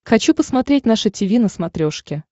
хочу посмотреть наше тиви на смотрешке